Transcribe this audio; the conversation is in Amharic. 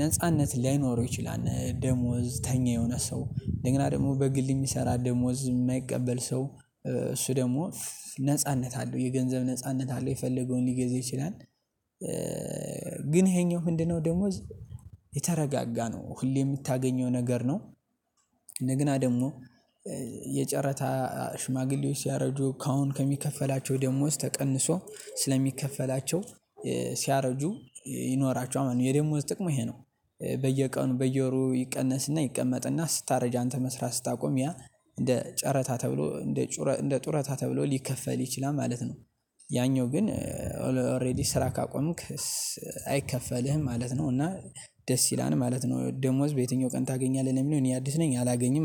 ነጻነት ላይኖረው ይችላል ደሞዝተኛ የሆነ ሰው እንደገና ደግሞ በግል የሚሰራ ደሞዝ የማይቀበል ሰው እሱ ደግሞ ነጻነት አለው የገንዘብ ነጻነት አለው የፈለገውን ሊገዛ ይችላል። ግን ይሄኛው ምንድነው ደሞዝ የተረጋጋ ነው ሁሌ የምታገኘው ነገር ነው። እንደገና ደግሞ የጨረታ ሽማግሌዎች ሲያረጁ ካሁን ከሚከፈላቸው ደሞዝ ተቀንሶ ስለሚከፈላቸው ሲያረጁ ይኖራቸዋል የደሞዝ ጥቅሙ ይሄ ነው። በየቀኑ በየወሩ ይቀነስና ይቀመጥና ስታረጅ አንተ መስራት ስታቆም ያ እንደ ጨረታ ተብሎ እንደ ጩረ እንደ ጡረታ ተብሎ ሊከፈልህ ይችላል ማለት ነው። ያኛው ግን ኦሬዲ ስራ ካቆምክ አይከፈልህም ማለት ነው። እና ደስ ይላል ማለት ነው። ደሞዝ በየትኛው ቀን ታገኛለህ ነው? ለሚለው እኔ አዲስ ነኝ አላገኝም